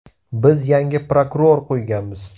Biz yangi bosh prokuror qo‘yganmiz.